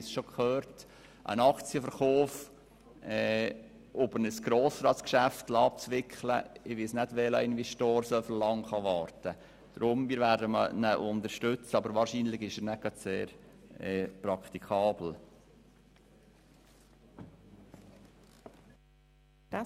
Ich weiss nicht, wie viele Investoren so lange warten können, bis ein Aktienverkauf über ein Grossratsgeschäft abgewickelt ist.